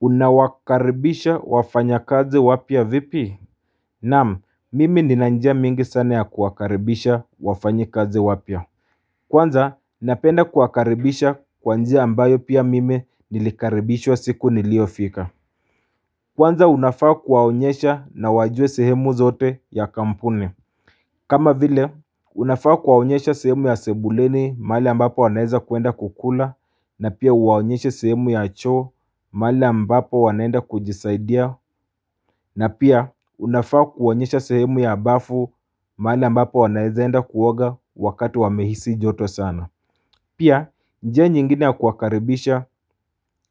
Unawakaribisha wafanyakazi wapya vipi Naam, mimi nina njia mingi sana za kuwakaribisha wafanyakazi wapya. Kwanza napenda kuwakaribisha kwa njia ambayo pia mimi nilikaribishwa siku niliyofika Kwanza unafaa kuwaonyesha na wajue sehemu zote ya kampuni kama vile unafaa kuwaonyesha sehemu ya sebuleni mahali ambapo wanaeza kwenda kukula na pia uwaonyesha sehemu ya choo mali ambapo wanaenda kujisaidia na pia unafaa kuwaonyesha sehemu ya bafu mali ambapo wanaezaenda kuoga wakati wamehisi joto sana Pia njia nyingine ya kuwakaribisha